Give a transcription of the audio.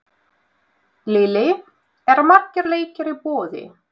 Lillý, eru margir leikir í boði?